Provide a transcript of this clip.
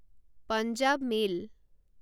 Punjab mail